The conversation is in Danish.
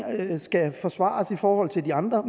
skal forsvares i forhold til de andre og